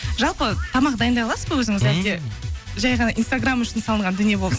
жалпы тамақ дайындай аласыз ба өзіңіз әлде жәй ғана инстаграм үшін салынған дүние